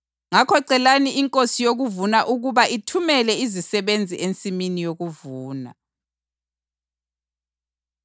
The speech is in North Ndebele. Ngakho celani iNkosi yokuvuna ukuba ithumele izisebenzi ensimini yokuvuna.”